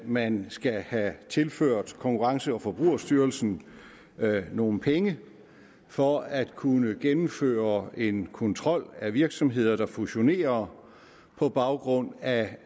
man skal have tilført konkurrence og forbrugerstyrelsen nogle penge for at kunne gennemføre en kontrol af virksomheder der fusionerer på baggrund af